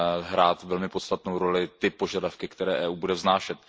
hrát velmi podstatnou roli ty požadavky, které EU bude vznášet.